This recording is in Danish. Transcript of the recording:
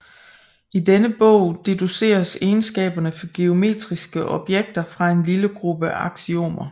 I denne bog deduceres egenskaberne for geometriske objekter fra en lille gruppe aksiomer